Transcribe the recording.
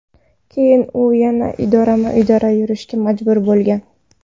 Keyin u yana idorama-idora yurishga majbur bo‘lgan.